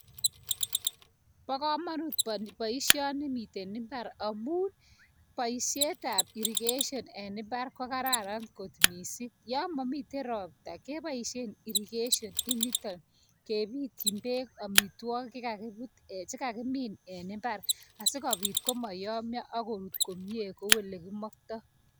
Pakamanut baishani mitei imbar amuu paishet ab irrigation eng imbar kokararan kot missing yamamitei ropta kee paishe irrigation initani kee bitiny amitwakik chekakimin eng imbar asokopti komayamia akorut komie kouu elekimaktai